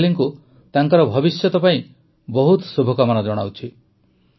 ମୁଁ ମିତାଲିଙ୍କୁ ତାଙ୍କର ଭବିଷ୍ୟତ ପାଇଁ ବହୁତ ଶୁଭକାମନା ଜଣାଉଛି